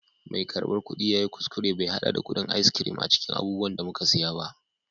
mai karbar kudi ya yi kuskure bai hada da kudin ice cream a cikin abubuwan da muka saya ba